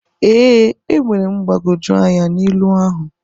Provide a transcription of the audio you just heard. Ee, enwere m mgbagwoju anya na ilu ahụ.